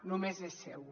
només és seu